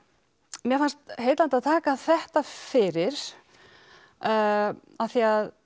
mér fannst heillandi að taka þetta fyrir af því að